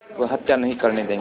वह हत्या नहीं करने देंगे